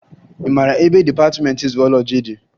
Ị mara ebe dịpatịmentị zuwọlọji dị?